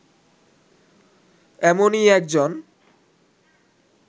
এমনই একজন